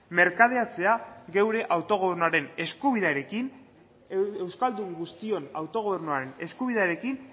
merkadeatzea geure autogobernuaren eskubidearekin euskaldun guztion autogobernuaren eskubidearekin